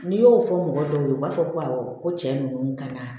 N'i y'o fɔ mɔgɔ dɔw ye u b'a fɔ ko awɔ ko cɛ ninnu ka na